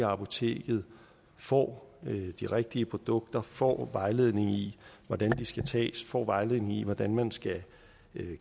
apoteket får de rigtige produkter får vejledning i hvordan de skal tages får vejledning i hvordan man skal